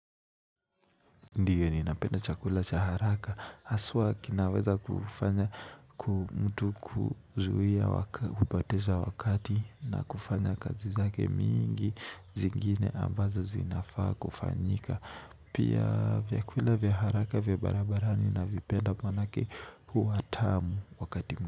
Ndiyo ni napenda chakula cha haraka haswa kinaweza kufanya mtu kuzuia kupoteza wakati na kufanya kazi zake mingi zingine ambazo zinafaa kufanyika pia vyakula vyaharaka vya barabarani na vipenda maanake huwa tamu wakati mtu.